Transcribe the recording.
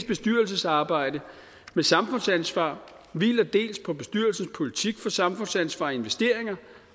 bestyrelsesarbejde med samfundsansvar hviler dels på bestyrelsens politik for samfundsansvar i investeringer